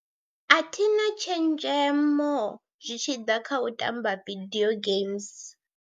A thina tshenzhemo zwi tshi ḓa kha u tamba video games.